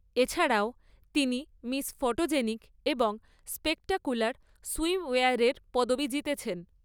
এছাড়াও, তিনি Miss photogenic এবং স্পেক্টাকুলার সুয়িমওয়েয়ারের পদবি জিতেছেন।